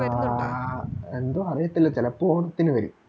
ആ എന്തോ അറിയത്തില്ല ചെലപ്പോ ഓണത്തിന് വരും